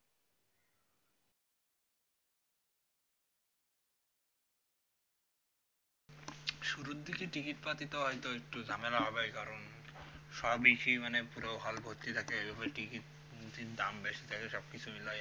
শুরুর দিকে টিকিট পাইতে হইত একটু ঝামেলা হবে ওই কারণ সবই সেই মানে পুরো hall ভর্তি থাকে আর ওই টিকিট দাম বেশি থাকে সবকিছুরই